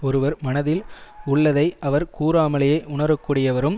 ஒருவர் மனத்தில் உள்ளதை அவர் கூறாமலே உணரக்கூடியவரும்